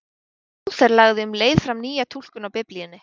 Lúther lagði um leið fram nýja túlkun á Biblíunni.